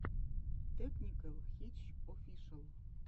тэкникэл хитч офишэл